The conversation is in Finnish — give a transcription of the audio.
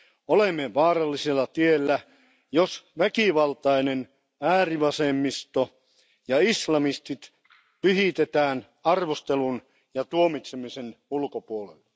Olemme vaarallisella tiellä, jos väkivaltainen äärivasemmisto ja islamistit pyhitetään arvostelun ja tuomitsemisen ulkopuolelle.